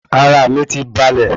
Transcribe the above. Ara mi ti balè